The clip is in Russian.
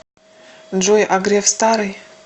джой а греф старый